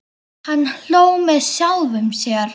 Hann hló með sjálfum sér.